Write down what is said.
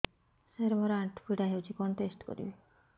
ସାର ମୋର ଆଣ୍ଠୁ ପୀଡା ହଉଚି କଣ ଟେଷ୍ଟ କରିବି